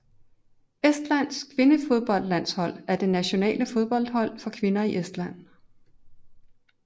Estlands kvindefodboldlandshold er det nationale fodboldhold for kvinder i Estland